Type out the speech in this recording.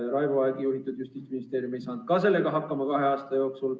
Raivo Aegi juhitud Justiitsministeerium ei saanud kahe aasta jooksul seda tehtud.